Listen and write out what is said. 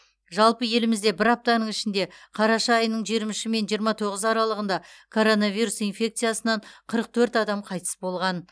жалпы елімізде бір аптаның ішінде қараша айының жиырма үші мен жиырма тоғызы аралығында коронавирус инфекциясынан қырық төрт адам қайтыс болған